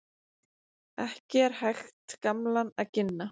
Ekki er hægt gamlan að ginna.